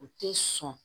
U tɛ sɔn